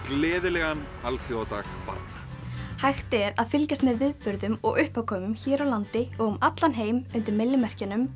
gleðilegan alþjóðadag barna hægt er að fylgjast með viðburðum og uppákomum hér á landi og um allan heim undir